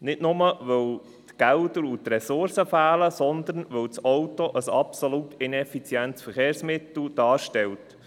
Nicht nur, weil die Gelder und Ressourcen fehlen, sondern auch, weil das Auto ein absolut ineffizientes Verkehrsmittel darstellt.